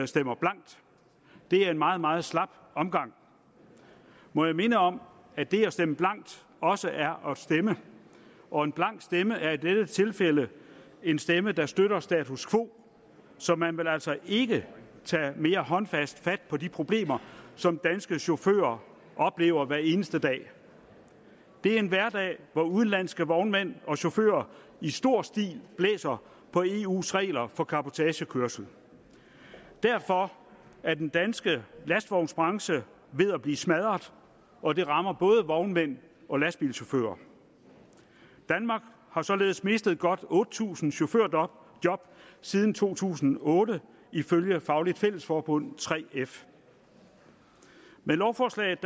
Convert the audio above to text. stemmer blankt det er en meget meget slap omgang må jeg minde om at det at stemme blankt også er at stemme og en blank stemme er i dette tilfælde en stemme der støtter status quo så man vil altså ikke tage mere håndfast fat på de problemer som danske chauffører oplever hver eneste dag det er en hverdag hvor udenlandske vognmænd og chauffører i stor stil blæser på eus regler for cabotagekørsel derfor er den danske lastvognsbranche ved at blive smadret og det rammer både vognmænd og lastbilchauffører danmark har således mistet godt otte tusind chaufførjob siden to tusind og otte ifølge fagligt fælles forbund 3f med lovforslaget